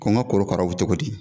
Ko n ka korokaraw bɛ cogo di?